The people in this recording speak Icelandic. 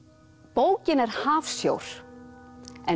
bókin er hafsjór en